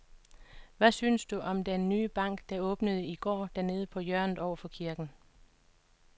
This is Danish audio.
Hvad synes du om den nye bank, der åbnede i går dernede på hjørnet over for kirken?